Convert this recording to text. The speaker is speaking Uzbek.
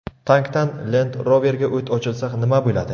Tankdan Land Rover’ga o‘t ochilsa nima bo‘ladi?.